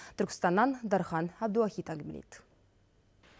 түркістаннан дархан әбдуахит әңгімелейді